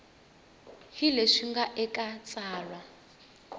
hi leswi nga eka tsalwa